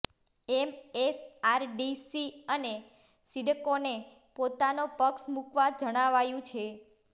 MSRDC અને સિડકોને પોતાનો પક્ષ મૂકવા જણાવાયું છે